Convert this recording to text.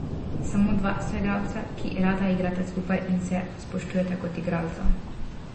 Samo dva soigralca, ki rada igrata skupaj in se spoštujeta kot igralca.